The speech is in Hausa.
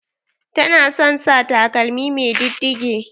Tana son sa takalmi mai diddige.